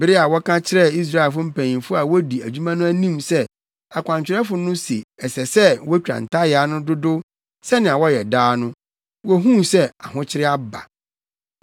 Bere a wɔka kyerɛɛ Israelfo mpanyimfo a wodi adwuma no anim sɛ akwankyerɛfo no se ɛsɛ sɛ wotwa ntayaa no dodow sɛnea wɔyɛ daa no, wohuu sɛ ahokyere aba.